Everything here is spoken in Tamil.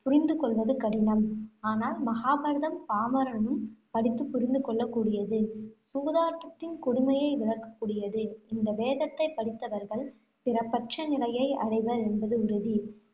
புரிந்து கொள்ளுவது கடினம். ஆனால், மகாபாரதம் பாமரனும் படித்து புரிந்து கொள்ளக்கூடியது. சூதாட்டத்தின் கொடுமையை விளக்கக்கூடியது. இந்த வேதத்தைப் படித்தவர்கள் பிறப்பற்ற நிலையை அடைவர் என்பது உறுதி.